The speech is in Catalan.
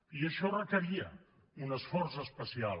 i això requeria un esforç especial